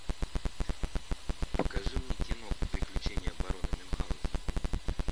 покажи мне кино приключения барона мюнхаузена